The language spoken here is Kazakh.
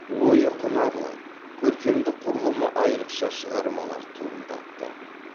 ойы құнарлы көркемдік құрылымы айрықша шығармалар туындатты